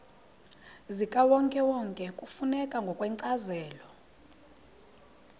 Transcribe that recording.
zikawonkewonke kufuneka ngokwencazelo